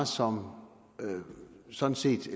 som sådan set